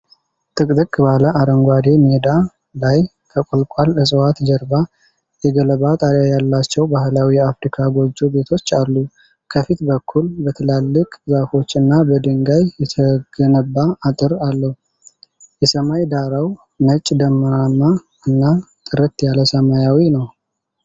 ጥቅጥቅ ባለ አረንጓዴ ሜዳ ላይ ከቁልቋል እፅዋት ጀርባ የገለባ ጣሪያ ያላቸው ባህላዊ የአፍሪካ ጎጆ ቤቶች አሉ። ከፊት በኩል በትላልቅ ዛፎች እና በድንጋይ የተገነባ አጥር አለው። የሰማይ ዳራው ነጭ ደመናማ እና ጥርት ያለ ሰማያዊ ነው።